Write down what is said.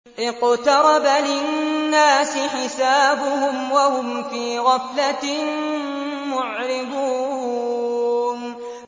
اقْتَرَبَ لِلنَّاسِ حِسَابُهُمْ وَهُمْ فِي غَفْلَةٍ مُّعْرِضُونَ